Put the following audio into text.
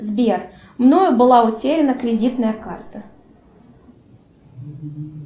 сбер мною была утерена кредитная карта